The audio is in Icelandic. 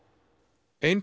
ein